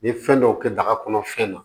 N ye fɛn dɔw kɛ daga kɔnɔ fɛn na